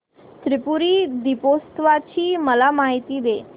त्रिपुरी दीपोत्सवाची मला माहिती दे